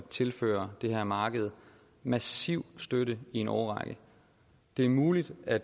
tilføre det her marked massiv støtte i en årrække det er muligt at